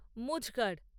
মুঝ গাড়